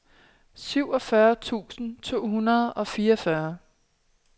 syvogfyrre tusind to hundrede og fireogfyrre